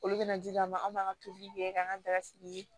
Olu bɛna di an ma anw b'an ka tobiliw kɛ k'an ka daga sigi